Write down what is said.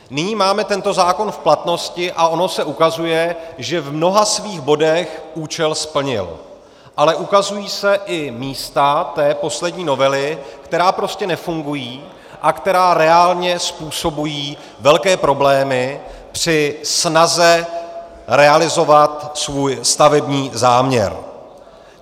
Nyní máme tento zákon v platnosti a ono se ukazuje, že v mnoha svých bodech účel splnil, ale ukazují se i místa té poslední novely, která prostě nefungují a která reálně způsobují velké problémy při snaze realizovat svůj stavební záměr.